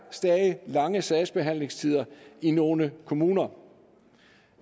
lange sagsbehandlingstider i nogle kommuner